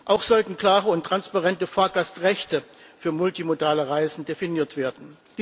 Auch sollten klare und transparente Fahrgastrechte für multimodale Reisen definiert werden.